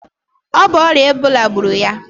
O bu oria Ebola gburu ya?